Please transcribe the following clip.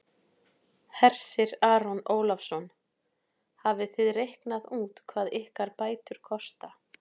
Hersir Aron Ólafsson: Hafið þið reiknað út hvað ykkar bætur kosta?